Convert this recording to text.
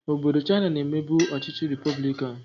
Obodo Chaina na-emebu ọchịchị repọblikanụ.